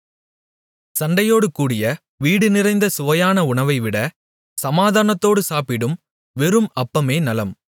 சண்டையோடுகூடிய வீடுநிறைந்த சுவையான உணவைவிட சமாதானத்தோடு சாப்பிடும் வெறும் அப்பமே நலம்